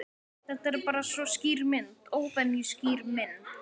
Þetta er bara svo skýr mynd. óvenju skýr mynd.